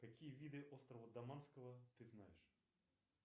какие виды острова даманского ты знаешь